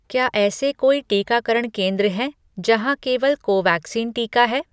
क्या ऐसे कोई टीकाकरण केंद्र हैं जहाँ केवल कोवैक्सीन टीका है?